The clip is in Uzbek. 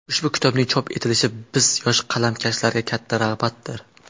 Ushbu kitobning chop etilishi biz, yosh qalamkashlarga katta rag‘batdir.